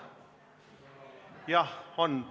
Jah, on.